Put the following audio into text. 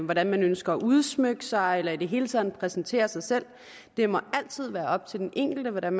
hvordan man ønsker at udsmykke sig eller i det hele taget præsentere sig selv det må altid være op til den enkelte hvordan